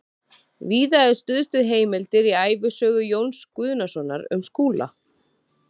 Víða er stuðst við heimildir í ævisögu Jóns Guðnasonar um Skúla